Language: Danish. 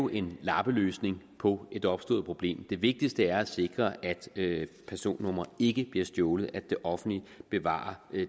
en lappeløsning på et opstået problem det vigtigste er at sikre at personnumre ikke bliver stjålet at det offentlige bevarer